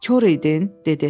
Kor idin, dedi.